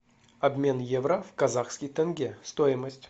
обмен евро в казахский тенге стоимость